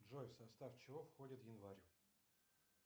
джой в состав чего входит январь